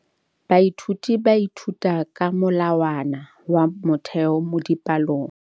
Baithuti ba ithuta ka molawana wa motheo mo dipalong.